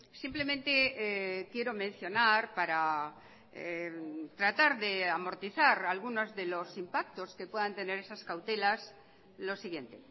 simplemente quiero mencionar para tratar de amortizar algunos de los impactos que puedan tener esas cautelas lo siguiente